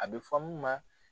A bɛ fɔ mun ma